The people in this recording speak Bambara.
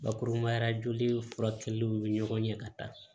Bakurubaya la joli furakɛliw ni ɲɔgɔn ɲɛ ka taa